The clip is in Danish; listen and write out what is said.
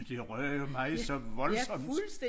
Men det rør mig så voldsomt